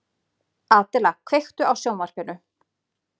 Adela, kveiktu á sjónvarpinu.